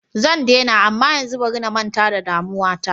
Zan daina amma yanzu bari na manta da damuwa ta.